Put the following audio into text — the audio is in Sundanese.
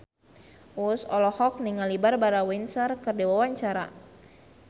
Uus olohok ningali Barbara Windsor keur diwawancara